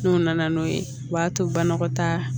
N'u nana n'o ye u b'a to banakɔtaa